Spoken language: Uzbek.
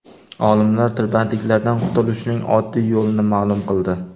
Olimlar tirbandliklardan qutulishning oddiy yo‘lini ma’lum qildi.